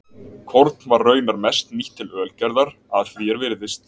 Korn var raunar mest nýtt til ölgerðar að því er virðist.